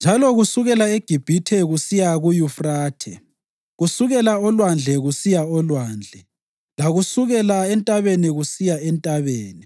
njalo kusukela eGibhithe kusiya kuYufrathe, kusukela olwandle kusiya olwandle, lakusukela entabeni kusiya entabeni.